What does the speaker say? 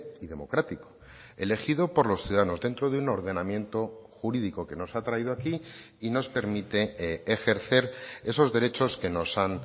y democrático elegido por los ciudadanos dentro de un ordenamiento jurídico que nos ha traído aquí y nos permite ejercer esos derechos que nos han